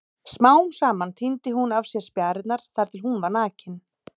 Smám saman tíndi hún af sér spjarirnar þar til hún var nakin.